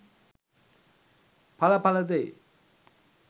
පල පල දේ.